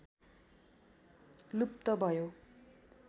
लुप्त भयो